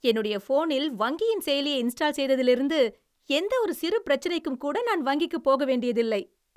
என்னுடைய போனில் வங்கியின் செயலியை இன்ஸ்டால் செய்திலிருந்து, எந்த ஒரு சிறு பிரச்சனைக்கும்கூட நான் வங்கிக்குப் போக வேண்டியதில்லை.